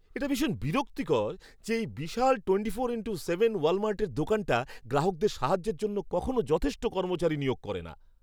এটা ভীষণ বিরক্তিকর যে, এই বিশাল টোয়েন্টি ফোর ইনটু সেভেন ওয়ালমার্টের দোকানটা গ্রাহকদের সাহায্যের জন্য কখনো যথেষ্ট কর্মচারী নিয়োগ করে না।